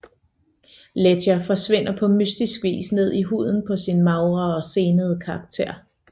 Ledger forsvinder på mystisk vis ned i huden på sin magre og senede karakter